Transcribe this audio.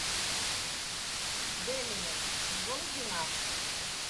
демиян сезон двенадцать